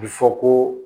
A bɛ fɔ ko